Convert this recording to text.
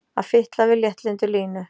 Að fitla við léttlyndu Línu!